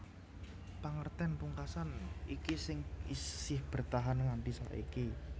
Pangertèn pungkasan iki sing isih bertahan nganti saiki